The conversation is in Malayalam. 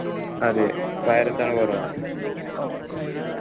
അതെ virus ആണ് corona